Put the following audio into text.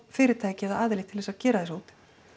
fyrirtæki eða aðila til þess að gera þessa úttekt